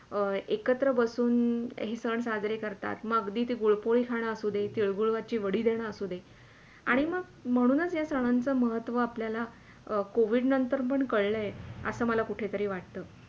अं एकत्र बसून हे सण साजरे करतात म अगदी ती गूळपोळी खाणं असू दे, तिळगूळची वडी असू दे म्हणूनच या सनांच महत्व आपल्याला covid नंतर पण कळलय. असे मला कुटेतरी वाटत.